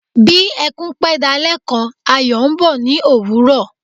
Bí ẹkún pẹ́ dalẹ́ kan Ayọ̀ ń bọ̀ ní òwúrọ̀.